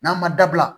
N'an ma dabila